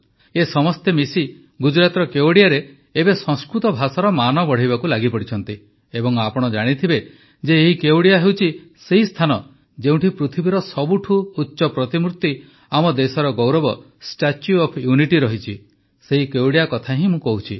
ଏ ସମସ୍ତେ ମିଶି ଗୁଜରାତର କେୱଡିୟାରେ ଏବେ ସଂସ୍କୃତ ଭାଷାର ମାନ ବଢ଼ାଇବାକୁ ଲାଗିପଡ଼ିଛନ୍ତି ଏବଂ ଆପଣ ଜାଣିଥିବେ ଯେ ଏହି କେୱଡିୟା ହେଉଛି ସେହି ସ୍ଥାନ ଯେଉଁଠି ପୃଥିବୀର ସବୁଠୁ ଉଚ୍ଚ ପ୍ରତିମୂର୍ତ୍ତି ଆମ ଦେଶର ଗୌରବ ଷ୍ଟାଚ୍ୟୁ ଅଫ୍ ୟୁନିଟି ରହିଛି ସେହି କେୱଡିୟା କଥା ମୁଁ କହୁଛି